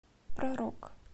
про рок